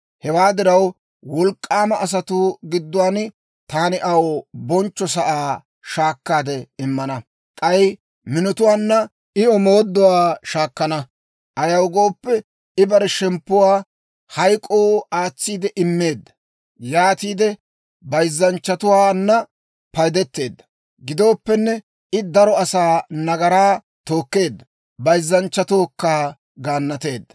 Hewaa diraw, wolk'k'aama asatuu gidduwaan taani aw bonchcho sa'aa shaakkaade immana; k'ay minotuwaanna I omooduwaa shaakkana. Ayaw gooppe, I bare shemppuwaa hayk'k'oo aatsiide immeedda; yaatiide bayzzanchchatuwaana paydetteedda. Gidooppenne, I daro asaa nagaraa tookkeedda; bayzzanchchatookka gaannateedda.